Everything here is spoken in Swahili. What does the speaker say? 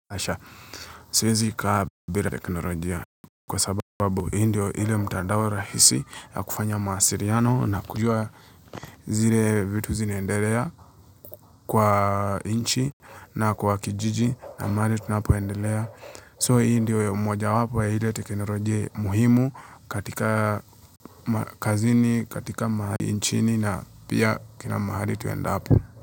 Kwa sababu hii ndiyo ile mtandao rahisi ya kufanya mawasiriano na kujua zile vitu zinaendelea kwa inchi na kwa kijiji na mahali kunapoendelea. So hii ndio mmoja wapo ya ile teknolojia muhimu katika kazini, katika mahali inchini na pia kila mahali tuendapo.